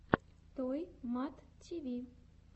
той мат ти ви